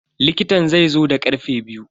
likitan zaizo da karfe biyu.